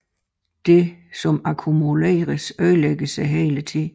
Det som akkumuleres ødelægges hele tiden